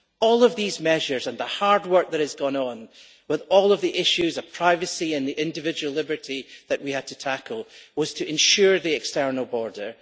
All these measures and the hard work that has gone on with all of the issues of privacy and individual liberties that we had to tackle was to safeguard the external border.